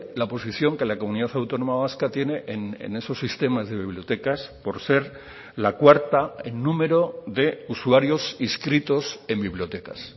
la posición que la comunidad autónoma vasca tiene en esos sistemas de bibliotecas por ser la cuarta en número de usuarios inscritos en bibliotecas